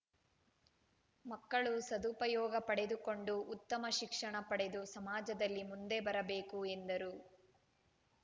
ಮಕ್ಕಳು ಸದುಪಯೋಗ ಪಡೆದುಕೊಂಡು ಉತ್ತಮ ಶಿಕ್ಷಣ ಪಡೆದು ಸಮಾಜದಲ್ಲಿ ಮುಂದೆ ಬರಬೇಕು ಎಂದರು